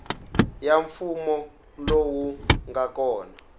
ya mfumo lowu nga kona